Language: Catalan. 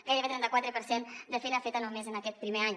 gairebé el trenta quatre per cent de feina feta només en aquest primer any